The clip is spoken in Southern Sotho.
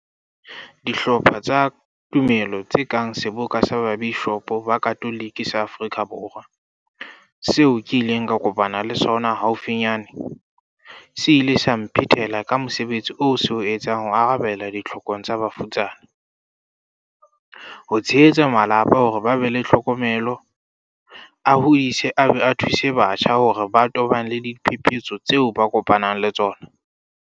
Dihlopha tsa tumelo tse kang Seboka sa Babishopo ba Katolike sa Aforika Borwa, seo ke ileng ka kopana le sona haufinyane, se ile sa mphetela ka mosebetsi oo se o etsang ho arabela ditlhokong tsa bafutsana, ho tshehetsa malapa hore a be le tlhokomelo, a hodise a be a thuse batjha hore ba tobane le diphepetso tseo ba kopanang le tsona.